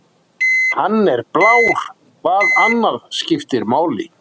Hann er blár, hvað annað skiptir máli?